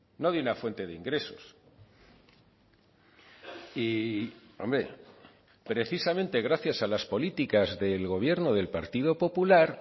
no de una fuente de ingresos y hombre precisamente gracias a las políticas del gobierno del partido popular